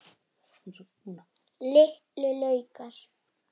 Litlu laukar.